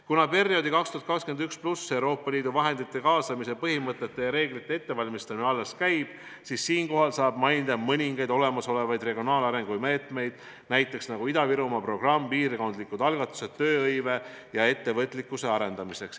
Kuna perioodi 2021+ Euroopa Liidu vahendite kaasamise põhimõtete ja reeglite ettevalmistamine alles käib, siis saab mainida vaid mõningaid olemasolevaid regionaalarengu meetmeid, näiteks Ida-Virumaa programm, piirkondlikud algatused tööhõive ja ettevõtlikkuse arendamiseks.